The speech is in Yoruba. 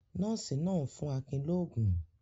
Nọ́ọ́sì náà ń fún Akin lóógún.